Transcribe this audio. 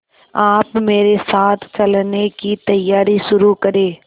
आप मेरे साथ चलने की तैयारी शुरू करें